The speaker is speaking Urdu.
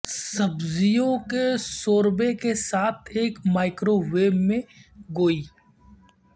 سبزیوں کے شوربے کے ساتھ ایک مائکروویو میں گوئی